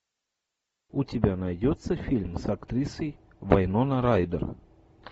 у тебя найдется фильм с актрисой вайнона райдер